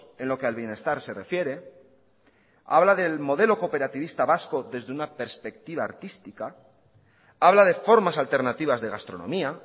en lo que al bienestar se refiere habla del modelo cooperativista vasco desde una perspectiva artística habla de formas alternativas de gastronomía